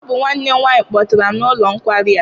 Ọ bụ nwanne m nwaanyị kpọtara m n'ụlọ nkwari a.